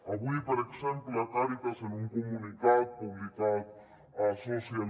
avui per exemple càritas en un comunicat publicat a social